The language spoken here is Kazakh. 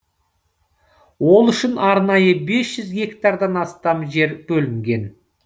ол үшін арнайы без жүз гектардан астам жер бөлінген